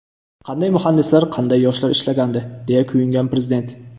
Qanday muhandislar, qanday yoshlar ishlagandi”, deya kuyingan Prezident.